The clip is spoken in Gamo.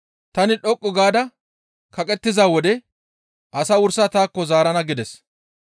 Tani dhoqqu gaada kaqettiza wode asaa wursa taakko zaarana» gides.